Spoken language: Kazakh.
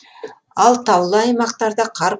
ал таулы аймақтарда қар